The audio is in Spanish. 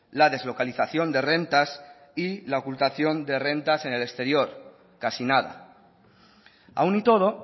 la deslocalización de rentas y la ocultación de rentas en el exterior casi nada aun y todo